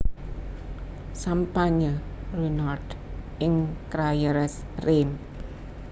Sampanye Ruinart ing Crayères Reims